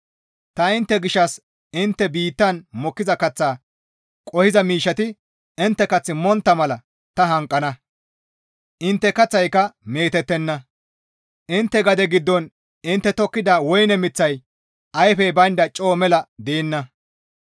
Ta intte gishshas intte biittan mokkiza kaththa qohiza miishshati intte kath montta mala ta hanqana; intte kaththayka meetettenna; intte gade giddon intte tokkida woyne miththay ayfey baynda coo mela deenna;